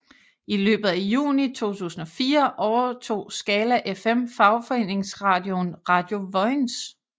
I løbet af juni 2004 overtog Skala FM fagforeningeradioen Radio Vojens